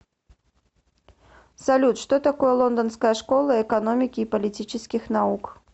салют что такое лондонская школа экономики и политических наук